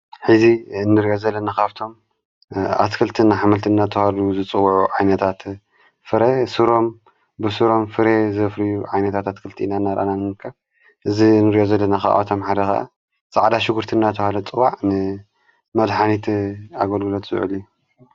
ኂዚ እንርኦ ዘለና ኻፍቶም ኣትክልትን አኃምልት እናተበሃሉ ዝጽውዑ ዓይነታት ፍረ ሱሮም ብሱሮም ፍረ ዘፍርዩ ዓይነታት ኣትክልቲ ኢና ናራእናንንከ እዝ ንርገዘለ ናኸዖታም ሓደኻ ፃዕዳ ሽጕርትእናተውሃሉ ዝፅዋዕ ን መድኃኒት ኣጐሉለት ዘውዕል እዩ።